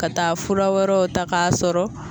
Ka taa fura wɛrɛw ta ka sɔrɔ